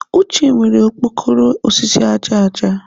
Uche nwere okpokoro osisi aja aja.